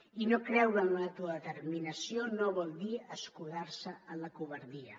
i no creure en l’autodeterminació no vol dir escudar se en la covardia